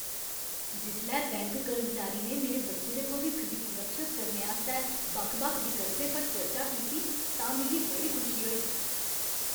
जिसलै बैंक कर्मचारी ने मेरे बच्चे दे भविक्ख गी सुरक्षत करने आस्तै बक्ख बक्ख विकल्पें पर चर्चा कीती तां मिगी बड़ी खुशी होई।